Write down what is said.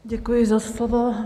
Děkuji za slovo.